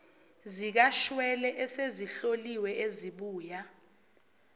zikashwele esezihloliwe ezibuya